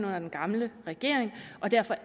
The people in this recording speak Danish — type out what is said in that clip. under den gamle regering derfor